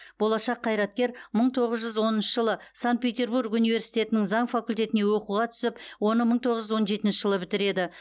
болашақ қайраткер мың тоғыз жүз оныншы жылы санкт петербург университетінің заң факультетіне оқуға түсіп оны мың тоғыз жүз он жетінші жылы бітіреді